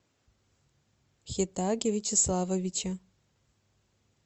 хетаге вячеславовиче